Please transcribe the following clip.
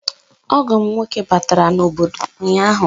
Ọgọ m nwoke batara n'obodo ụnyahụ